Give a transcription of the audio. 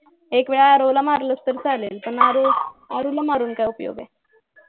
एक वेळ आरव ला मारलास तर चालेल पण आरु ला मारून काय उपयोग आहे